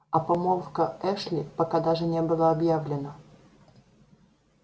а помолвка эшли пока даже не была объявлена